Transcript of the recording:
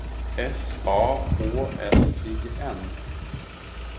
S A H L I N